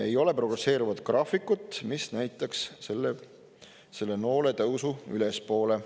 Ei ole progresseeruvat graafikut, mis näitaks selle noole tõusu ülespoole.